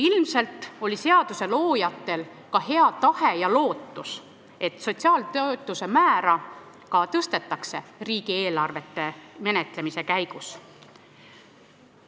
Ilmselt oli seaduse loojatel hea tahe ja lootus, et sotsiaaltoetuste määra riigieelarvete menetlemise käigus tõstetakse.